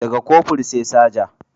Da ga Kofur sai Saja